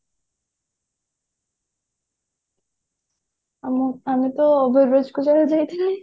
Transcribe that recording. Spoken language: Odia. ଆମେ ଆମେତ ଯାଇଥିଲି